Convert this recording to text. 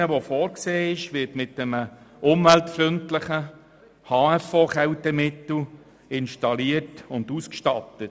Die neu vorgesehene Maschine wird mit einem umweltfreundlichen HFO-Kältemittel ausgestattet und installiert.